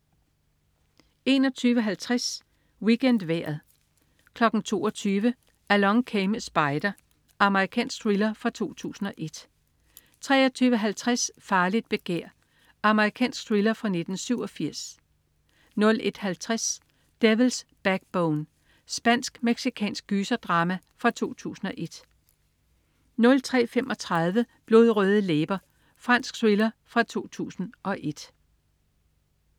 21.50 WeekendVejret 22.00 Along Came a Spider. Amerikansk thriller fra 2001 23.50 Farligt begær. Amerikansk thriller fra 1987 01.50 Devil's Backbone. Spansk-mexicansk gyser-drama fra 2001 03.35 Blodrøde læber. Fransk thriller fra 2001